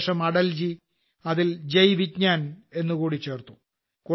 അതിനുശേഷം അടൽജി അതിൽ ജയ് വിജ്ഞാൻ എന്നുകൂടി ചേർത്തു